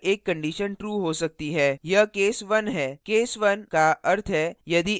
यह case 1 है case 1 का अर्थ है यदि x की value 1 है